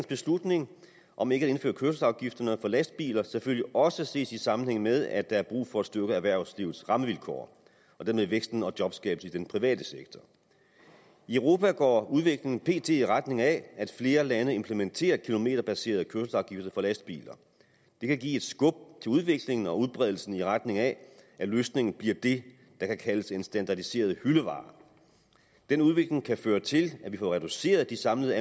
beslutning om ikke at indføre kørselsafgifter for lastbiler selvfølgelig også ses i sammenhæng med at der er brug for at styrke erhvervslivets rammevilkår og dermed væksten og jobskabelsen private sektor i europa går udviklingen pt i retning af at flere lande implementerer kilometerbaserede kørselsafgifter for lastbiler det kan give et skub til udviklingen og udbredelsen i retning af at løsningen bliver det der kan kaldes en standardiseret hyldevare den udvikling kan føre til at vi får reduceret de samlede